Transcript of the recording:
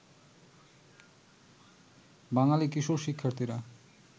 বাঙালি কিশোর শিক্ষার্থীরা